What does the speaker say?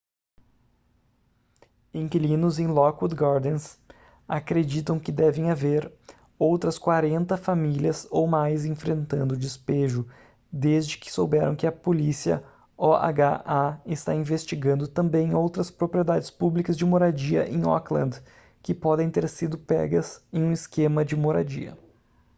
inquilinos em lockwood gardens acreditam que devem haver outras 40 famílias ou mais enfrentando despejo desde que souberam que a polícia oha está investigando também outras propriedades públicas de moradia em oakland que podem ter sido pegas em um esquema de moradia